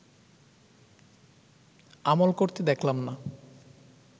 আমল করতে দেখলাম না